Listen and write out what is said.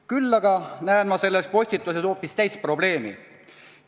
Küll aga näen ma selles postituses hoopis teist probleemi.